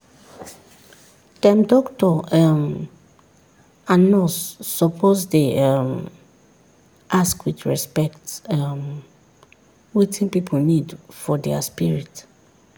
dem doctor um and nurse suppose dey um ask with respect um wetin pipu need for dia spirit.